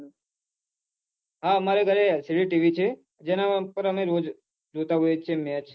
હા મારા ઘરે LCD ટીવી છે જે ના પન જોતા હોય છે મેચ